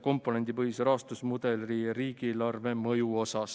komponendipõhise rahastusmudeli mõju kohta riigieelarvele.